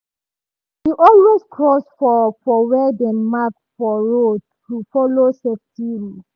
e always cross for for where dem mark for road to follow safety rule.